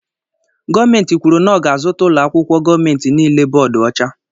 Gọọmenti kwụrụ na ọ ga -azuta ụlọakwụkwọ gọọmenti niile bóódú ọcha.